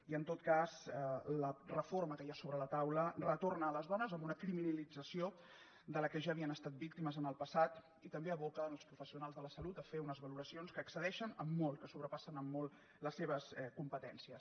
i en tot cas la reforma que hi ha sobre la taula retorna les dones a una criminalització de què ja havien estat víctimes en el passat i també aboca els professionals de la salut a fer unes valoracions que excedeixen en molt que sobrepassen en molt les seves competències